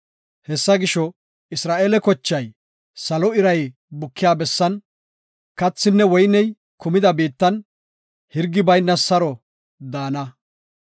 Hessa gisho, Isra7eele kochay, salo iray bukiya bessan, kathinne woyney kumida biittan, hirgi bayna saro daana.